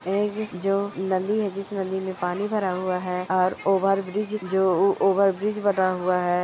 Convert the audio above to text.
यह जो नदी है जिस नदी मे पानी भरा हुआ है और ओवरब्रिज जो ओवरब्रिज बना हुआ है।